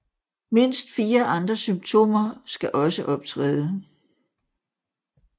Mindst fire andre symptomer skal også optræde